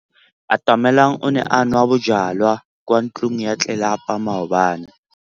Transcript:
Atamelang o ne a nwa bojwala kwa ntlong ya tlelapa maobane.